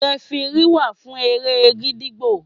Rẹfirí wà fún eré gídígbò.